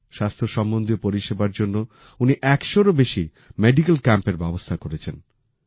স্বাস্থ্য সম্বন্ধীয় পরিষেবার জন্য উনি একশোরও বেশি মেডিকেল ক্যাম্পের ব্যবস্থা করেছেন